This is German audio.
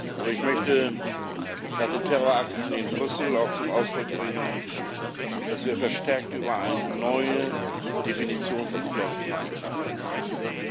Aber ich möchte nach den Terrorakten in Brüssel auch zum Ausdruck bringen, dass wir verstärkt über eine neue Definition von Sicherheitspolitik nachdenken müssen.